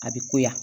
A bɛ ko ya